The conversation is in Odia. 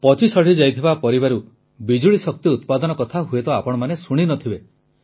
ପଚିସଢ଼ି ଯାଇଥିବା ପରିବାରୁ ବିଜୁଳି ଶକ୍ତି ଉତ୍ପାଦନ କଥା ହୁଏତ ଆପଣମାନେ ଶୁଣି ନ ଥିବେ